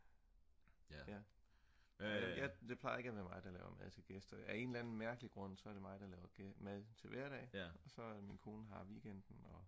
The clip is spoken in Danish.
det plejer ikke at være mig der laver mad til gæster af en eller anden mærkelig grund så er det mig der laver mad til hverdag og så er det min kone der har weekenden